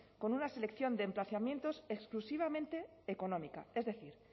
con una selección de emplazamientos exclusivamente económica es decir